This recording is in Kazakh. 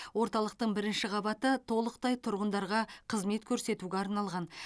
орталықтың бірінші қабаты толықтай тұрғындарға қызмет көрсетуге арналған